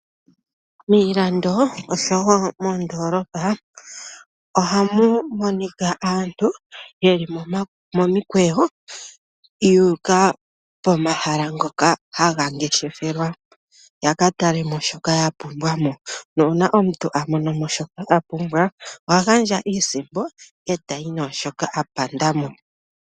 Miilando nosho wo moondoolopa ohamu monika aantu ye li momikweyo yu uka pomahala ngoka haga ngefeshelwa yaka tale mo shoka ya pumbwa mo. Uuna aantu ya mono mo shoka a pumbwa oha gandja iisimpo ye tayi naashoka a panda mo.